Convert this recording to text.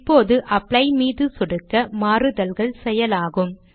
இப்போது அப்ளை மீது சொடுக்க மாறுதல்கள் செயலாகும்